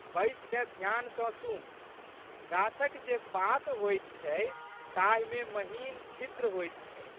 बैसिकए ध्यान सँ सुन। गाछक जे पात होइत छै ताहिमे महीन छिद्र होइत छै।